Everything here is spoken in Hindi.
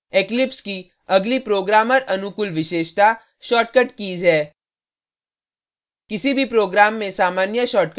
eclipse की अगली programmer अनुकूल विशेषता shortcut कीज़ है